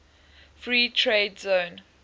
free trade zone